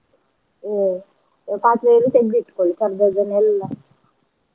A~ ಪಾತ್ರೆಯಲ್ಲಿ ತೇಗ್ದ್ ಇಟ್ಕೊಳ್ಳಿ ಕರ್ದದ್ದನ್ನೆಲ್ಲ.